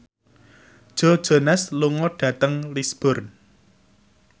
Joe Jonas lunga dhateng Lisburn